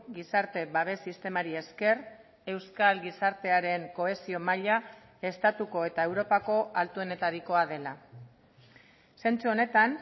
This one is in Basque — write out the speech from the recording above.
gizarte babes sistemari esker euskal gizartearen kohesio maila estatuko eta europako altuenetarikoa dela zentzu honetan